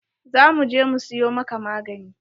Za mu je mu siyo maka magani.